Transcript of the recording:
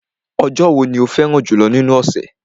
Ọjọ́ wo ni ọjọ́ tí o fẹ́ràn jùlọ́ nínú ọ̀sẹ̀?